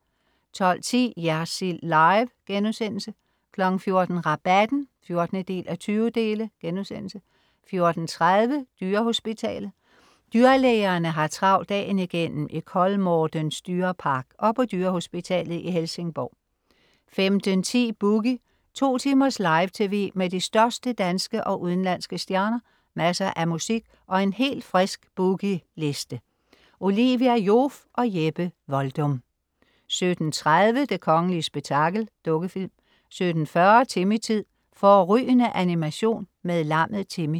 12.10 Jersild Live* 14.00 Rabatten 14:20* 14.30 Dyrehospitalet. Dyrlægerne har travlt dagen igennem i Kolmårdens dyrepark og på dyrehospitalet i Helsingborg 15.10 Boogie. 2 timers live tv med de største danske og udenlandske stjerner, masser af musik og en helt frisk Boogie Liste. Olivia Joof og Jeppe Voldum 17.30 Det kongelige spektakel. Dukkefilm 17.40 Timmy-tid. Fårrygende animation med lammet Timmy